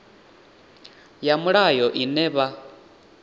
ya mulayo ine na vha